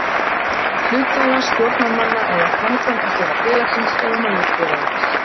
hluthafa, stjórnarmanna eða framkvæmdastjóra félagsins eða móðurfélags þess.